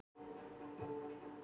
Ágæt kjörsókn á Suðurlandi